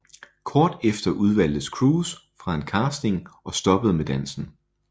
Kort tid efter udvalgtes Cruz fra en casting og stoppede med dansen